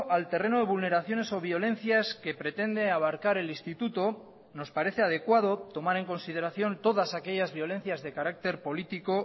al terreno de vulneraciones o violencias que pretende abarcar el instituto nos parece adecuado tomar en consideración todas aquellas violencias de carácter político